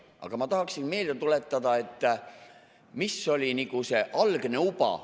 Aga ma tahaksin meelde tuletada, mis oli see algne uba.